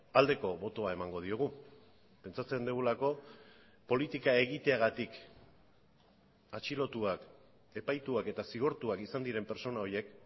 aldeko botoa emango diogu pentsatzen dugulako politika egiteagatik atxilotuak epaituak eta zigortuak izan diren pertsona horiek